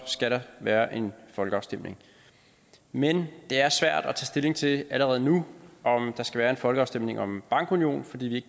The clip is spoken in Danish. skal der være en folkeafstemning men det er svært at stilling til allerede nu om der skal være en folkeafstemning om en bankunion fordi vi